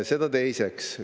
Seda teiseks.